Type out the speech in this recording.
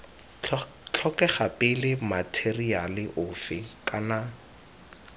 tlhokega pele matheriale ofe kana